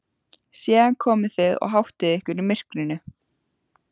Síðan komið þið og háttið ykkur í myrkrinu.